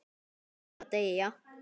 Hann verður að deyja.